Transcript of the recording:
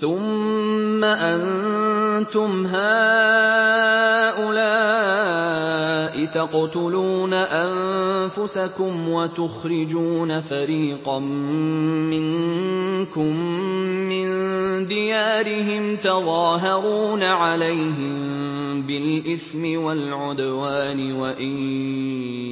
ثُمَّ أَنتُمْ هَٰؤُلَاءِ تَقْتُلُونَ أَنفُسَكُمْ وَتُخْرِجُونَ فَرِيقًا مِّنكُم مِّن دِيَارِهِمْ تَظَاهَرُونَ عَلَيْهِم بِالْإِثْمِ وَالْعُدْوَانِ وَإِن